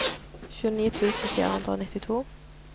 tjueni tusen fire hundre og nittito